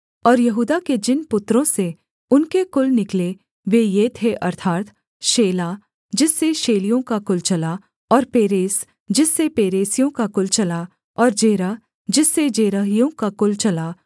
और यहूदा के जिन पुत्रों से उनके कुल निकले वे ये थे अर्थात् शेला जिससे शेलियों का कुल चला और पेरेस जिससे पेरेसियों का कुल चला और जेरह जिससे जेरहियों का कुल चला